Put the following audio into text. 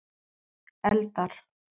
Eldar